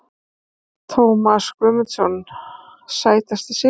Tómas Guðmundsson Sætasti sigurinn?